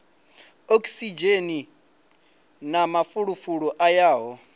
okisidzheni na mafulufulu a yaho